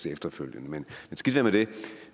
efterfølgende men skidt være med det